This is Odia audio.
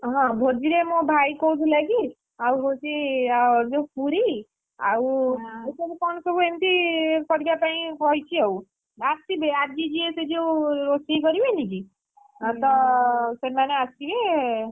ହଁ ଭୋଜିରେ ମୋ ଭାଇ କହୁଥିଲା କି, ଆଉ ହଉଛି ଅ ଯୋଉ ପୁରୀ ଆଉସବୁ ଏମିତି କରିବା ପାଇଁ କହିଛି ଆଉ, ଆସିବେ ଆଜି ଯିଏ ସେଯଉ ରୋଷେଇ କରିବେନି କି? ତ ସେମାନେ ଆସିବେ।